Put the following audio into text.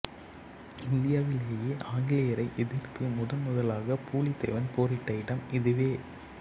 இந்தியாவிலேயே ஆங்கிலேயரை எதிர்த்து முதன் முதலாக பூலித்தேவன் போரிட்ட இடம் இதுவே